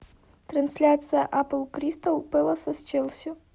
трансляция апл кристал пэласа с челси